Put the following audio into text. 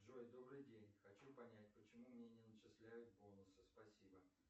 джой добрый день хочу понять почему мне не начисляют бонусы спасибо